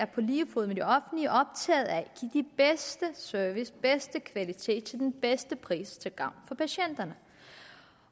på lige fod med det offentlige er optaget af at give den bedste service og den bedste kvalitet til den bedste pris til gavn for patienterne